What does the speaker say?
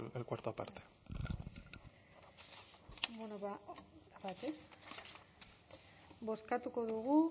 el cuarto aparte bozkatuko dugu